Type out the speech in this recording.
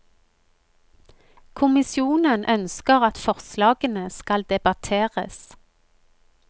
Kommisjonen ønsker at forslagene skal debatteres.